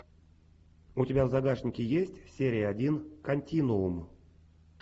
у тебя в загашнике есть серия один континуум